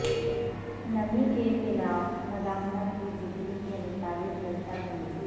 نمی کے خلاف مزاحمت کی ڈگری کے مطابق درجہ بندی